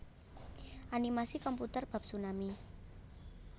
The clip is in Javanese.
Animasi komputer bab tsunami